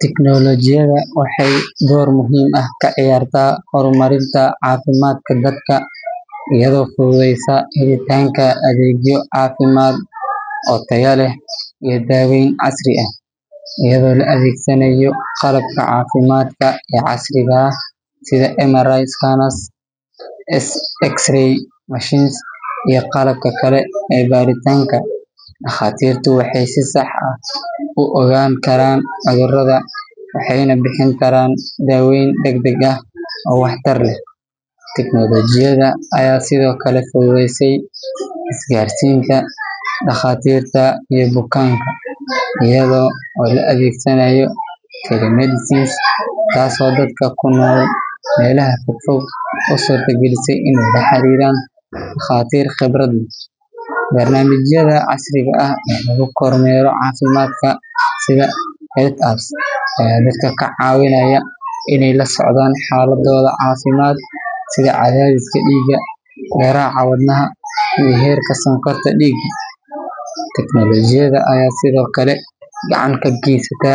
Teknolojiyada waxeey door muhiim ah kaciyarta hor marinta cafimaadka dadka iyado fududeesa helitaanka adeegyo cafimaad oo tayo leh iyo daween casri ah, ayado la adeegsanaayo qalabka cafimaadka ee casriga ah, iyo qqalabka kale ee baaritaanka, daqaatirtu waxeey si sax ah u ogaan karaan cudurada, waxeeyna bixin karaan daween dagdag ah oo wax tar leh, teknolojiyada ayaa sido kale fududeese gaarsinta daqaatirta iyo bukaanka iyado la adeegsanaayo, taas oo dadka kunool meelaha fog u suurta galise inaay la xariiran daqatiir khibrad leh, barnamijada casriga oo lagu kor meero cafimaadka, ayaa ka cawinaayo inaay la socdaan xaladooda cafimaad sida cadadiska diiga, garaaca wadnaha iyo heerka sokorta diiga, teknolojiyada ayaa sido kale gacan ka geesata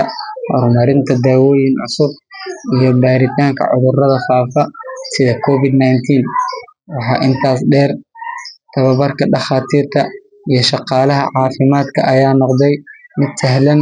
hor marinta daawoyin cusub iyo baaritaanka cudurada faafa, waxaa intaas deer tababarka daqaatiirta iyo shaqalaha cafimaad ayaa noqde mid sahlan.